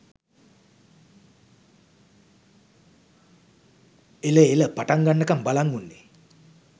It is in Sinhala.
එල එලපටන් ගන්නකම් බලන් උන්නෙ